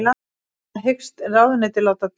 Það hyggst ráðuneytið láta duga